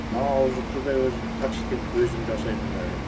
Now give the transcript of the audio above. мына ауыздықты да өзім точить етіп өзім жасаймын былайғып